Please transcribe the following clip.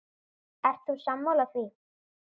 Ert þú sammála því?